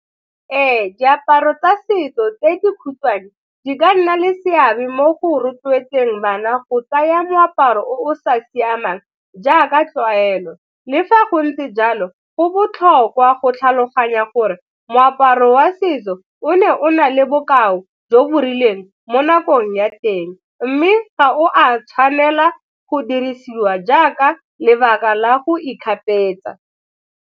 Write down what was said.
Ee, diaparo tsa setso tse dikhutshwane di ka nna le seabe mo go rotloetseng bana go tsaya moaparo o sa siamang jaaka tlwaelo. Le fa go ntse jalo, go botlhokwa go tlhaloganya gore moaparo wa setso o ne o na le bokao jo bo rileng mo nakong ya teng mme ga o a tshwanela go dirisiwa jaaka lebaka la go .